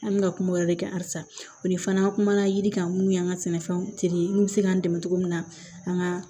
An bɛ ka kuma o yɔrɔ de kan halisa o de fana kumana yiri kan mun y'an ka sɛnɛfɛnw tere minnu bɛ se k'an dɛmɛ cogo min na an ka